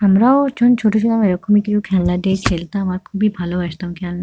আমরাও যন ছোট ছিলাম এরকমই কিছু খেলনা দিয়ে খেলতাম আর খুবই ভালোবাসতাম খেল --